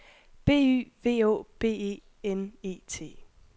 B Y V Å B E N E T